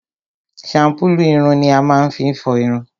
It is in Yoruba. shampulu ìrùn ni a máá fi n fọ ìrùn.